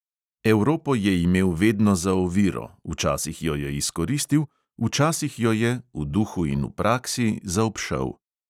Evropo je imel vedno za oviro, včasih jo je izkoristil, včasih jo je, v duhu in v praksi, zaobšel.